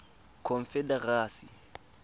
confederacy